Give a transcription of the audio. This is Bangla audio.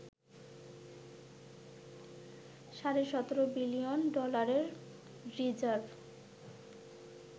সাড়ে ১৭ বিলিয়ন ডলারের রিজার্ভ